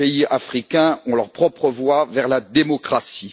Les pays africains ont leur propre voie vers la démocratie.